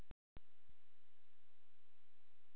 Kannski mennirnir í sölutjaldinu gætu hjálpað til við það.